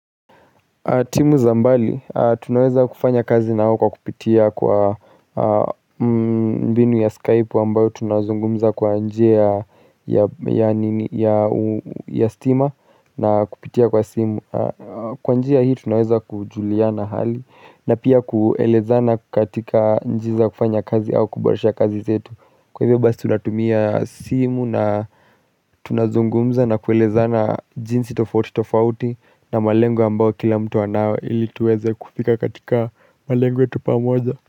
Timu za mbali, tunaweza kufanya kazi na wao kupitia kwa mbinu ya Skype ambayo tunazungumza kwa njia ya stima na kupitia kwa simu Kwa njia hii tunaweza kujuliana hali na pia kuelezana katika njia za kufanya kazi au kuboresha kazi zetu Kwa hivyo basi tunatumia simu na tunazungumza na kuelezana jinsi tofauti tofauti na malengo ambao kila mtu anao ili tuweze kufika katika malengo yetu pamoja.